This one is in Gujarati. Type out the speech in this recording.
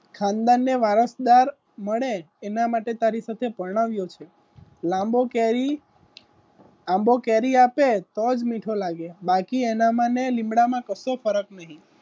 ખાનદાન ને વારસદાર મળે એના માટે તારી સાથે પરણાવ્યો છે લાંબો કેરી આંબો કેરી આપે બાકી એનામાં ને લીમડામાં કરતો ફરક નહીં